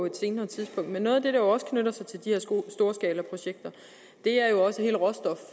et senere tidspunkt men noget af det der jo også knytter sig til de her storskalaprojekter